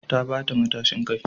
Ta bata matashin kai